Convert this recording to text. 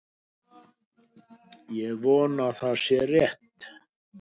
Ég vona að það sé rétt.